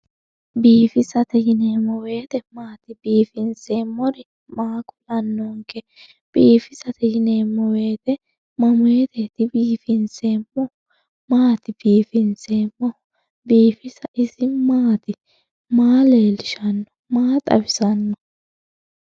biifisate yineemmo woyte maati? biifinseemmori maa kulannonke? biifisate yineemmo woyte mamoote biifinsay? maati biifinseemmohu? biifisa ise maati? maa leellishshanno? maa xawisanno?